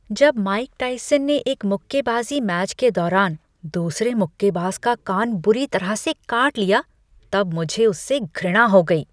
जब Mike Tyson ने एक मुक्केबाजी मैच के दौरान दूसरे मुक्केबाज का कान बुरी तरह से काट लिया तब मुझे उससे घृणा हो गई।